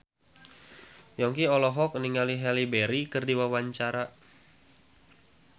Yongki olohok ningali Halle Berry keur diwawancara